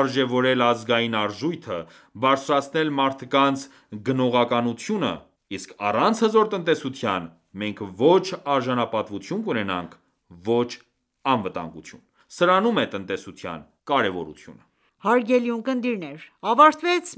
արժևորել ազգային արժույթը, բարձրացնել մարդկանց գնողունակություն...; Իսկ առանց հզոր տնտեսության մենք ոչ արժանապատվություն կունենանք, ոչ անվտանգություն։ Սրանում է տնտեսության կարևորությունը»։ Հարգելի ունկնդիրներ, ավարտվեց